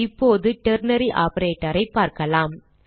இப்போது ternary operator ஐ பார்க்கலாம்